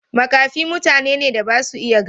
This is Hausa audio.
Makafi mutane ne da ba su iya gani.